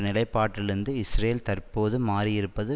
நிலைப்பாட்டிலிருந்து Israel தற்போது மாறியிருப்பது